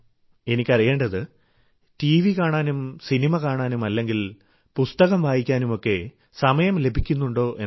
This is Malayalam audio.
എനിക്കറിയേണ്ടത് ടിവി കാണാനും സിനിമ കാണാനും അല്ലെങ്കിൽ പുസ്തകം വായിക്കാനുമൊക്കെ അങ്ങേക്ക് സമയം ലഭിക്കുന്നുണ്ടോ എന്നാണ്